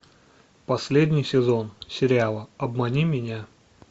последний сезон сериала обмани меня